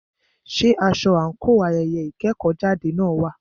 Ṣé aṣọ àńkò ayẹyẹ ìkẹ́kọ̀jáde náà wà?